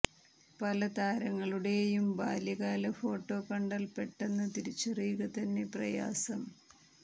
പല താരങ്ങളുടെയും ബാല്യകാല ഫോട്ടോ കണ്ടാൽ പെട്ടെന്ന് തിരിച്ചറിയുക തന്നെ പ്രയാസം